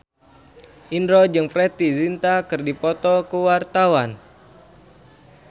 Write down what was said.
Indro jeung Preity Zinta keur dipoto ku wartawan